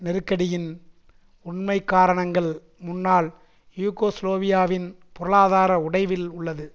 நெருக்கடியின் உண்மைக்காரணங்கள் முன்னாள் யூகோஸ்லேவியாவின் பொருளாதார உடைவில் உள்ளது